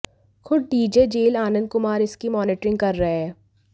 खुद DG jail Anand Kumar इसकी monitoring कर रहे हैं